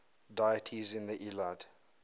deities in the iliad